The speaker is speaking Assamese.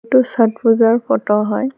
এইটো চত পূজাৰ ফটো হয়।